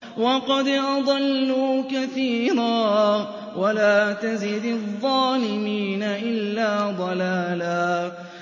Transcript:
وَقَدْ أَضَلُّوا كَثِيرًا ۖ وَلَا تَزِدِ الظَّالِمِينَ إِلَّا ضَلَالًا